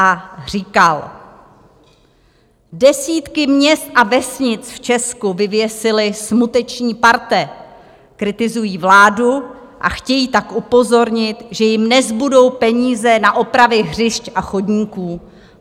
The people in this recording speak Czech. A říkal: "Desítky měst a vesnic v Česku vyvěsily smuteční parte, kritizují vládu a chtějí tak upozornit, že jim nezbudou peníze na opravy hřišť a chodníků."